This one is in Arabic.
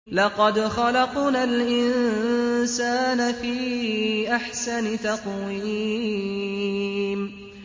لَقَدْ خَلَقْنَا الْإِنسَانَ فِي أَحْسَنِ تَقْوِيمٍ